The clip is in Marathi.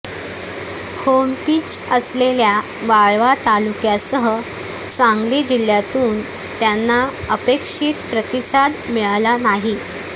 होमपिच असलेल्या वाळवा तालुक्यासह सांगली जिह्यातून त्यांना अपेक्षीत प्रतिसाद मिळाला नाही